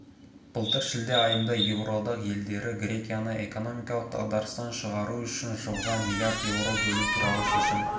былтыр шілде айында еуроодақ елдері грекияны экономикалық дағдарыстан шығару үшін жылға миллиард еуро бөлу туралы шешім